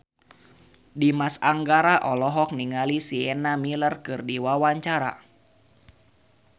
Dimas Anggara olohok ningali Sienna Miller keur diwawancara